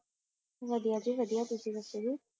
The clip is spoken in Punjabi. ਵਧੀਆ ਜੀ ਵਧੀਆ ਤੁਸੀ ਦੱਸੋ ਜੀ